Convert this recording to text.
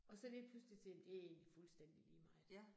Og så lige pludselig til, det egentlig fuldstændig lige meget